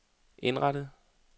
indrettet